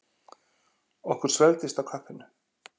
Okkur svelgdist á kaffinu.